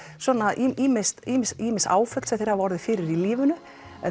svona ýmis ýmis ýmis áföll sem þeir hafa orðið fyrir í lífinu